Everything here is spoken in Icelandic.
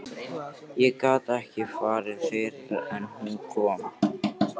Ég gat ekki farið fyrr en hún kom.